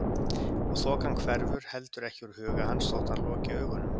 Og þokan hverfur heldur ekki úr huga hans þótt hann loki augunum.